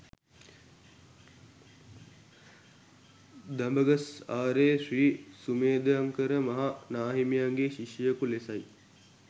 දඹගස්ආරේ ශ්‍රී සුමේධංකර මහ නාහිමියන්ගේ ශිෂ්‍යයකු ලෙසයි.